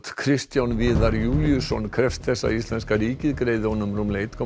Kristján Viðar Júlíusson krefst þess að íslenska ríkið greiði honum rúmlega einn komma